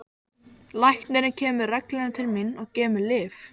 Hvað var það þá sem fékk mig til þess?